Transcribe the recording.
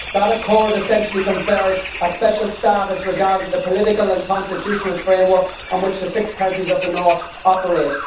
That Accord essentially conferred a special status regarding the political and constitutional framework on which the six counties of the North operate.